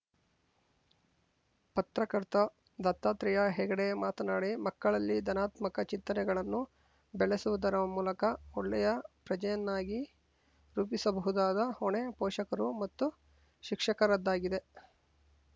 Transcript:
ಪತ್ರಕರ್ತ ದತ್ತಾತ್ರೆಯ ಹೆಗಡೆ ಮಾತನಾಡಿ ಮಕ್ಕಳಲ್ಲಿ ಧನಾತ್ಮಕ ಚಿಂತನೆಗಳನ್ನು ಬೆಳೆಸುವುದರ ಮೂಲಕ ಒಳ್ಳೆಯ ಪ್ರಜೆಯನ್ನಾಗಿ ರೂಪಿಸಬಹುದಾದ ಹೊಣೆ ಪೋಷಕರು ಮತ್ತು ಶಿಕ್ಷಕರದ್ದಾಗಿದೆ